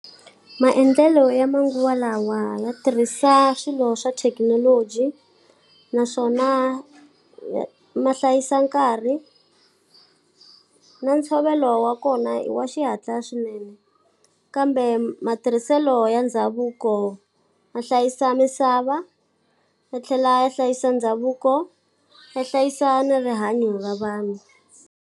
Maendlelo ya manguva lawa ya tirhisa swilo swa thekinoloji, naswona ya ma hlayisa nkarhi, na ntshovelo wa kona i wa xihatla swinene. Kambe matirhiselo ya ndhavuko ma hlayisa misava, ya tlhela ya hlayisa ndhavuko, ya hlayisa ni rihanyo ra vanhu.